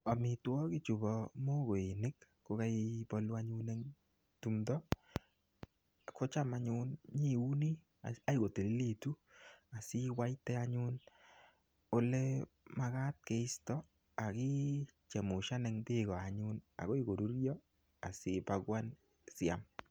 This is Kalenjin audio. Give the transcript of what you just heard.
Amitwogik chubo mogoinik kokaibolu anyun eng tumdo, kocham anyun nyiuni akoi kotililitu. Asiwaite anyun ole magat keisto, akichemushan eng beeko anyun akoi korurio, asipakuan, asiam.